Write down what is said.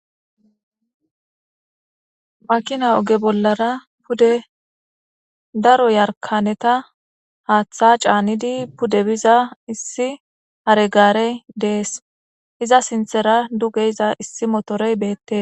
Makina oge bollara pude daro yarkaneta haaththa caanidi pude biza issi haregaarey dees iza sinthera dugeiza issi motorey beette